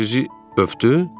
Ruh sizi öpdü?